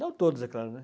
Não todos, é claro, né?